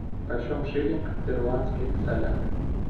почем шиллинг в перуанских солях